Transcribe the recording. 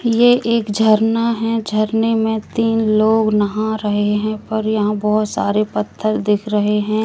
ये एक झरना है झरने में तीन लोग नहा रहे हैं पर यहां बहोत सारे पत्थर दिख रहे हैं।